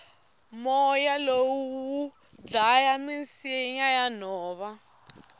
moya lowu wudlaya misinya yanhova